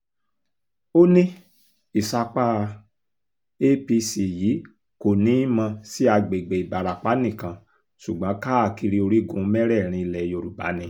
ó ní ìsapá apc yìí kò ní í mọ sí àgbègbè ìbarapá nìkan ṣùgbọ́n káàkiri orígun mẹ́rẹ̀ẹ̀rin ilẹ̀ yorùbá ni